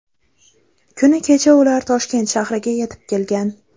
Kuni kecha ular Toshkent shahriga yetib kelgan.